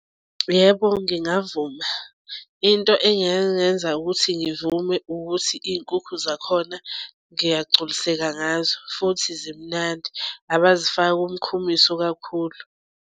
Yebo, ngingavuma into engangenza ukuthi ngivume ukuthi iy'nkukhu zakhona ngiyagculiseka ngazo. Futhi zimnandi abazifaki umkhumiso kakhulu.